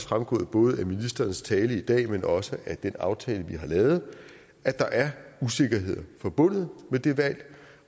fremgået af både ministerens tale i dag men også af den aftale vi har lavet at der er usikkerheder forbundet med det valg